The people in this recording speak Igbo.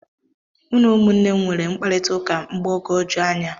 Mụ na ụmụnne m nwere mkparịta ụka mgbagoju anya